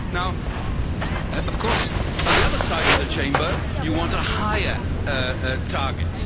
Now of course, on the other side of the Chamber, you want a higher target.